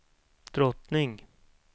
drottning